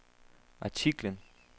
artiklen